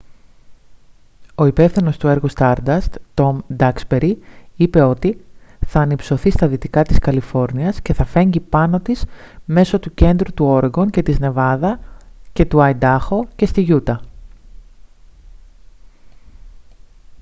ο υπεύθυνος έργου του stardust τομ ντάξμπερι είπε ότι «θα ανυψωθεί στα δυτικά της καλιφόρνιας και θα φέγγει πάνω της μέσω του κέντρου του όρεγκον και της νεβάδα και του αϊντάχο και στη γιούτα»